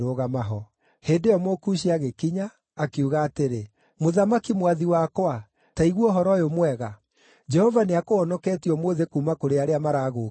Hĩndĩ ĩyo Mũkushi agĩkinya, akiuga atĩrĩ, “Mũthamaki mwathi wakwa, ta igua ũhoro ũyũ mwega! Jehova nĩakũhonoketie ũmũthĩ kuuma kũrĩ arĩa maragũũkĩrĩire.”